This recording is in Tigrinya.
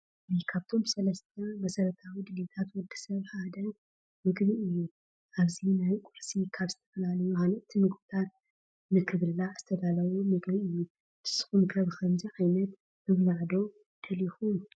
ምግቢ፡- ካብቶም ሰለስተ መሰረታዊ ድልየታት ወዲ ሰብ ሓደ ምግቢ እዩ፡፡ ኣብዚ ናይ ቁርሲ ካብ ዝተፈላለዩ ሃነፅቲ ምግብታት ንኽብላዕ ዝተዳለወ ምግቢ እዩ፡፡ ንስኹም ከ ብኸምዚ ዓይነት ምብላዕ ዶ ንደለኹም?